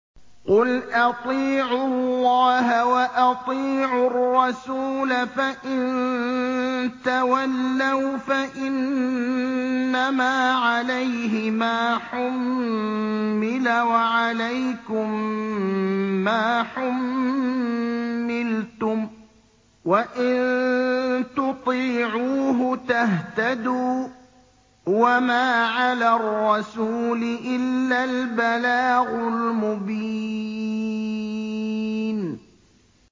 قُلْ أَطِيعُوا اللَّهَ وَأَطِيعُوا الرَّسُولَ ۖ فَإِن تَوَلَّوْا فَإِنَّمَا عَلَيْهِ مَا حُمِّلَ وَعَلَيْكُم مَّا حُمِّلْتُمْ ۖ وَإِن تُطِيعُوهُ تَهْتَدُوا ۚ وَمَا عَلَى الرَّسُولِ إِلَّا الْبَلَاغُ الْمُبِينُ